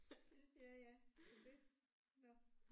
Ja ja men det nåh